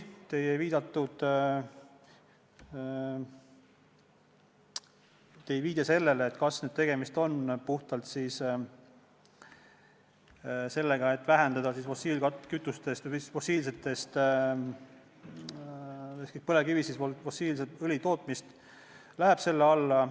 Te viitasite sellele, et kas tegemist on puhtalt sellega, et vähendada fossiilsetest kütustest, põlevkivist fossiilse õli tootmist – et kas see läheb selle meetme alla.